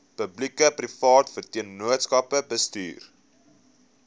publiekeprivate vennootskappe bestuur